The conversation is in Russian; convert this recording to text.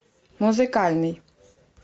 музыкальный